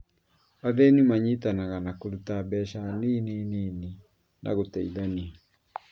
Athĩni manyitanaga na kũruta mbeca nini nini na gũteithania